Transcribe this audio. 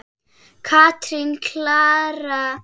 Katrín Klara.